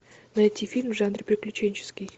найти фильм в жанре приключенческий